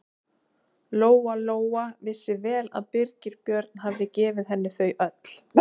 Lóa-Lóa vissi vel að Birgir Björn hafði gefið henni þau öll.